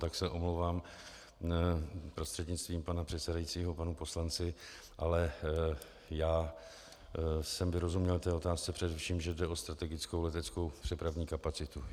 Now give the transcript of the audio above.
Tak se omlouvám prostřednictvím pana předsedajícího panu poslanci, ale já jsem vyrozuměl té otázce především, že jde o strategickou leteckou přepravní kapacitu.